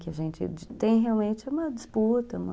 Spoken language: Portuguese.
Que a gente tem realmente uma disputa, uma